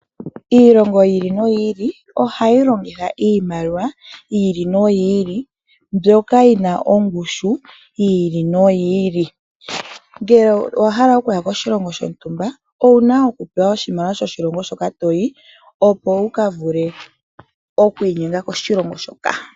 Ilongo yi ili noyi ili, ohayi longitha iimaliwa yi ili noyi ili mbyoka yina ongushu yi ili noyi ili. Ngele owa hala okuya koshilongo shontumba owuna oku pewa oshimaliwa shoshilongo shoka to yi, opo wuka vule okwiinyenga koshilongo shoka.